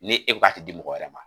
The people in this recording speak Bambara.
Ni e ko a te di mɔgɔ wɛrɛ ma.